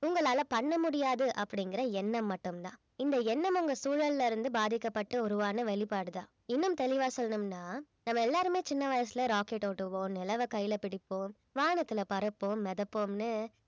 உங்களால பண்ண முடியாது அப்படிங்கிற எண்ணம் மட்டும்தான் இந்த எண்ணம் உங்க சூழல்ல இருந்து பாதிக்கப்பட்டு உருவான வெளிப்பாடுதான் இன்னும் தெளிவா சொல்லணும்னா நம்ம எல்லாருமே சின்ன வயசுல rocket ஓட்டுவோம், நிலவ கையிலே பிடிப்போம், வானத்தில பறப்போம், மிதப்போம்னு